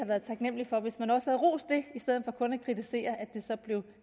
været taknemlig for hvis man også havde rost det i stedet for kun at kritisere at det så blev